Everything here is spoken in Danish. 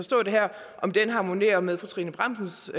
om det harmonerer med fru trine bramsens